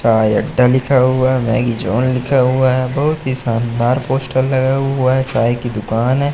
चाय अड्डा लिखा हुआ है मैगी जोन लिखा हुआ है बहुत ही शानदार पोस्टर लगा हुआ है चाय की दुकान है।